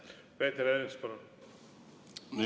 Peeter Ernits, palun!